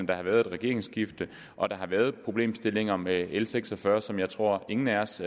der har været et regeringsskifte og at der har været problemstillinger med l seks og fyrre som jeg tror ingen af os